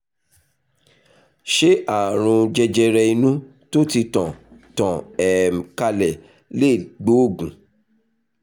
ṣé ààrùn jẹjẹrẹ inú tó ti tàn tàn um kálẹ̀ lè gbóògùn?